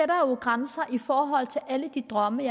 grænser i forhold til alle de drømme